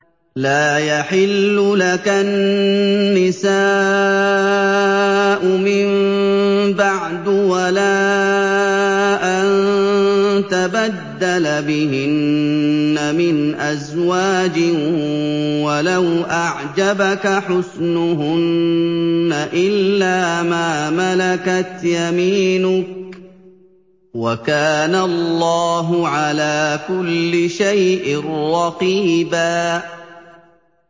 لَّا يَحِلُّ لَكَ النِّسَاءُ مِن بَعْدُ وَلَا أَن تَبَدَّلَ بِهِنَّ مِنْ أَزْوَاجٍ وَلَوْ أَعْجَبَكَ حُسْنُهُنَّ إِلَّا مَا مَلَكَتْ يَمِينُكَ ۗ وَكَانَ اللَّهُ عَلَىٰ كُلِّ شَيْءٍ رَّقِيبًا